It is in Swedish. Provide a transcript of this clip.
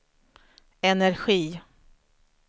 energi